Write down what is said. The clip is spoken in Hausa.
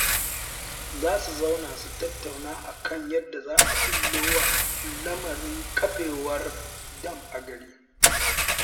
Za su zauna su tattauna a kan yadda za a ɓullo wa lamarin ƙafewar dam a garin